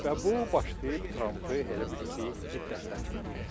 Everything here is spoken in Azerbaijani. Və bu başlayıb Trampı elə bil ki, hiddətləndirməyə.